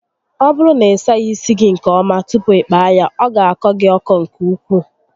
Ọ bụrụ na ị saghị isi gị nke ọma tupu ịkpaa ya, ọ ga akọ gị ọkọ nke ukwuu